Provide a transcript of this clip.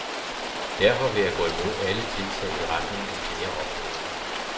Derfor vil jeg gå imod alle tiltag i retning af flere opgaver.